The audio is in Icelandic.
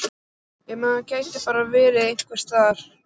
Ef maður gæti bara verið einhvers staðar.